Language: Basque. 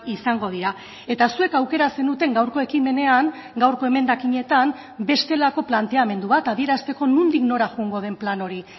izango dira eta zuek aukera zenuten gaurko ekimenean gaurko emendakinetan bestelako planteamendu bat adierazteko nondik nora joango den plan hori